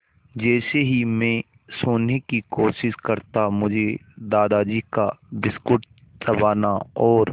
जैसे ही मैं सोने की कोशिश करता मुझे दादाजी का बिस्कुट चबाना और